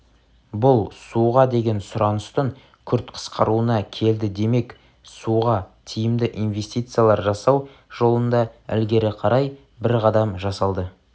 бұл суға деген сұраныстың күрт қысқаруына келді демек суға тиімді инвестициялар жасау жолында ілгері қарай бір қадам жасалды